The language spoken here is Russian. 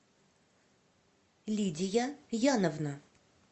лидия яновна